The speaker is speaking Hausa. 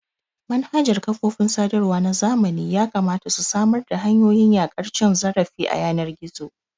Manhajar kafofin sadarwa na zamani yakamata su samar da hanyoyin yaƙar cin zarafi a yanar gizo.